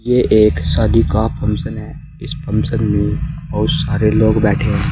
ये एक शादी का फंक्शन है इस फंक्शन में बहुत सारे लोग बैठे--